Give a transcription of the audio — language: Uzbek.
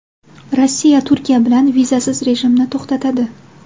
Rossiya Turkiya bilan vizasiz rejimni to‘xtatadi.